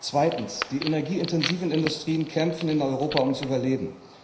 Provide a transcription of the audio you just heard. Zweitens Die energieintensiven Industrien kämpfen in Europa ums Überleben.